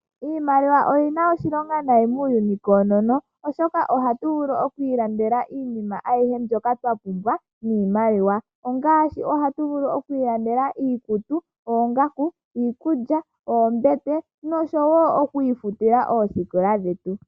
Iimaliwa oyina oshilonga nayi muuyuni koonono oshoka ohatu vulu oku ilandela iinima ayihe twa pumbwa niimaliwa ongaashi ohatu vulu oku ilandela iikutu, oongaku, iikulya, oombete noku ifutila oosikola dhetu.